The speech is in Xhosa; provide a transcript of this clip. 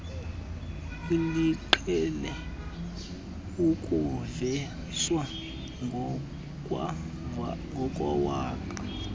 eliqhele ukuvezwa ngokwewaka